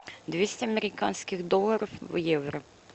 двести американских долларов в евро